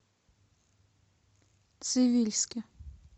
цивильске